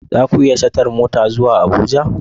Za ku yi shatar mota zuwa Abuja?